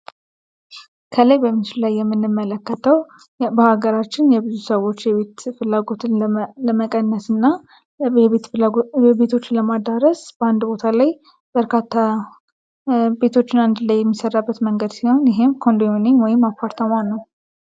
የምንመለከተው በሀገራችን የብዙ ሰዎች የቤት ፍላጎትን ለመቀነስና የቤት ፍላጎቶችን ለማዳረስ በአንድ ቦታ ላይ በርካታ ቤቶችን አንድ ላይ የሚሰራበት መንገድ ሲሆን ይህም ኮንዶሚኒየም ወይም አፓርታማ ነው